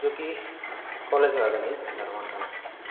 जुकी कॉलेज का अगनई झंडा रोहण कना छ।